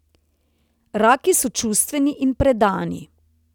Raki so čustveni in predani.